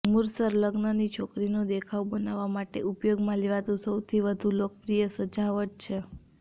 મુશર્ર લગ્નની છોકરીનું દેખાવ બનાવવા માટે ઉપયોગમાં લેવાતું સૌથી વધુ લોકપ્રિય સજાવટ છે